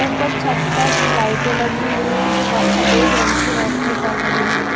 ऊपर छत पर लाइटें लगी हुई हैं जो सफेद रंग की रोशनी कर रही हैं।